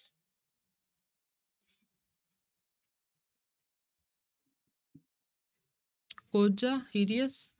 ਕੋਹਝਾ hideous